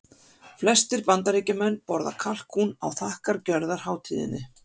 Flestir Bandaríkjamenn borða kalkún á þakkargjörðarhátíðinni.